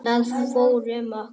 Það fór um okkur.